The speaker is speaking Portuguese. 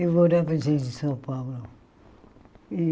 Eu morava em São Paulo.